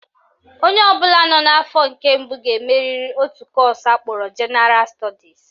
Onye ọbụla nọ n'afọ nke mbụ ga-emeriri otu kọọsụ akpọrọ Jenaral Stọdis